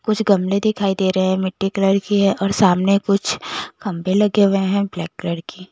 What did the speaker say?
कुछ गमले दिखाई दे रहे है मिटी फैला रखी है और सामने कुछ खम्बे लगे हुए है ब्लैक कलर की--